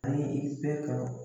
An ye i